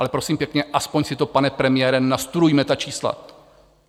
Ale prosím pěkně, aspoň si to, pane premiére, nastudujte, ta čísla.